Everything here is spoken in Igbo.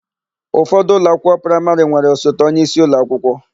Ụfọdụ ụlọakwụkwọ praịmarị nwere osote onyeisi ụlọakwụkwọ.